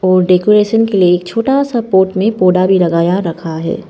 और डेकोरेशन के लिए छोटा से पॉट में पौधा भी लगाया रखा है।